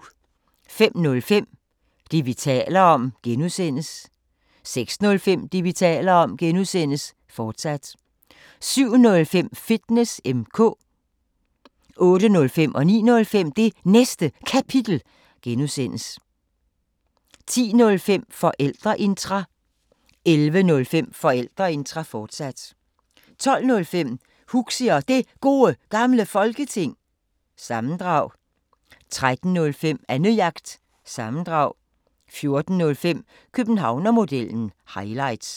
05:05: Det, vi taler om (G) 06:05: Det, vi taler om (G), fortsat 07:05: Fitness M/K 08:05: Det Næste Kapitel (G) 09:05: Det Næste Kapitel (G) 10:05: Forældreintra 11:05: Forældreintra, fortsat 12:05: Huxi Og Det Gode Gamle Folketing- sammendrag 13:05: Annejagt – sammendrag 14:05: Københavnermodellen – highlights